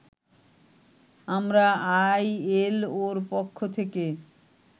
আমরা আইএলওর পক্ষ থেকে